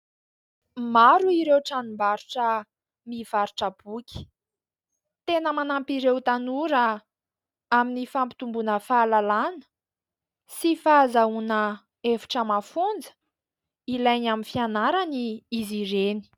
Maro ireo tranom-barotra mivarotra boky. Tena manampy ireo tanora amin'ny fampitomboana fahalalana sy fahazahoana hevitra mafonja ilainy amin'ny fianarana izy ireny.